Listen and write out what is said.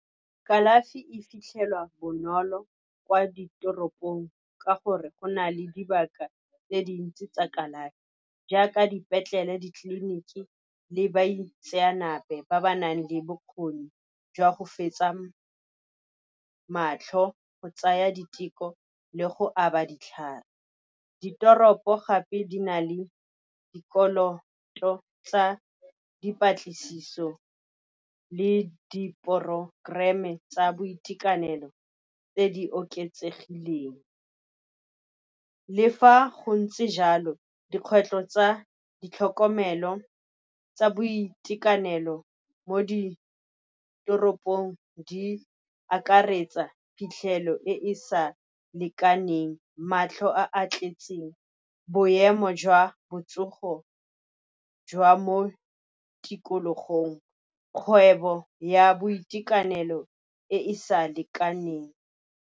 Kalafi e fitlhelwa bonolo kwa ditoropong ka gore go na le dibaka tse dintsi tsa kalafi jaaka dipetlele, ditleliniki le baitseanape ba ba nang le bokgoni jwa go fetsa matlho, go tsaya diteko le go aba ditlhare. Ditoropo gape di na le dikoloto tsa dipatlisiso le di-programme tsa boitekanelo tse di oketsegileng. Le fa go ntse jalo, dikgwetlho tsa boitekanelo mo ditoropong di akaretsa phitlhelo e e sa lekaneng, matlho a tletseng, boemo jwa botsogo jwa mo tikologong, kgwebo ya boitekanelo e e sa lekaneng.